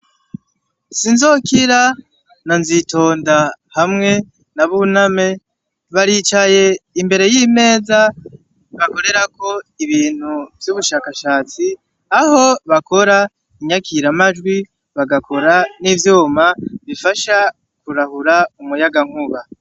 Sinzokira na Nzitonda hamwe na Buname, baricaye imbere y'imeza bakorerako ibintu vy'ubushashatsi; aho bakora inyakiramajwi, bagakora n'ivyuma bifasha kurahura umuyagankuba.